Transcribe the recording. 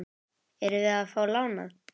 Erum við að fá lánað?